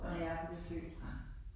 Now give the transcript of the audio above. Ja, ja